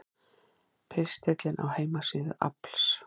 Pistillinn á heimasíðu AFLs